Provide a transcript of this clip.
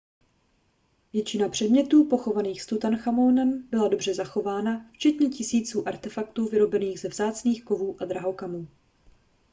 většina předmětů pochovaných s tutanchamonem byla dobře zachována včetně tisíců artefaktů vyrobených ze vzácných kovů a drahokamů